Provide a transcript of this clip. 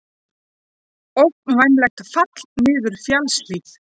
Ógnvænlegt fall niður fjallshlíð